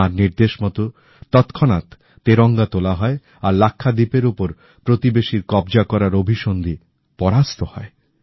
তাঁর নির্দেশ মতো তৎক্ষণাৎ তেরঙ্গা তোলা হয় আর লাক্ষাদ্বীপের ওপর প্রতিবেশীর কব্জা করার অভিসন্ধি পরাস্ত হয়